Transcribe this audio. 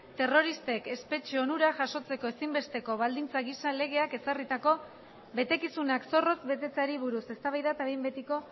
terroristek espetxe onurak jasotzeko ezinbesteko baldintza gisa legeak ezarritako betekizunak zorrotz betetzeari buruz eztabaida eta behin betiko